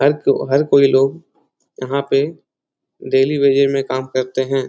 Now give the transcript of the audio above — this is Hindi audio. हर को हर कोई लोग यहाँ पे डेली वेजेस में काम करते है।